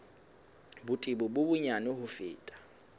botebo bo bonyane ho feta